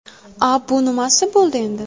A bu nimasi bo‘ldi endi?.